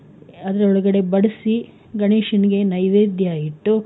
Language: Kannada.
ಅದ್ರೊಳ್ಗಡೆ ಬಡಿಸಿ ಗಣೇಶನಿಗೆ ನೈವೈದ್ಯ ಇಟ್ಟು,